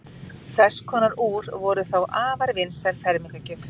þess konar úr voru þá afar vinsæl fermingargjöf